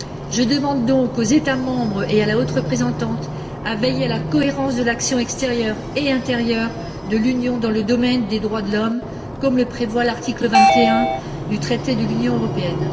Je demande donc aux États membres et à la Haute représentante, de veiller à la cohérence de l'action extérieure et intérieure de l'Union dans le domaine des droits de l'homme, comme le prévoit l'article 21 du traité sur l'Union européenne.